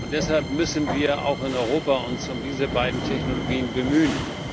Deshalb müssen wir uns auch in Europa um diese beiden Technologien bemühen.